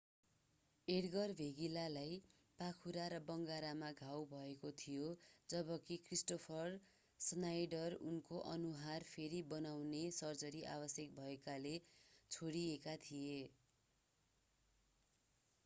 एड्गर भेगिल्लालाई पाखुरा र बङ्गारामा घाउ भएको थियो जबकि क्रिस्टोफर स्नाइडर उनको अनुहार फेरि बनाउने सर्जरी आवश्यक भएकाले छोडिएका थिए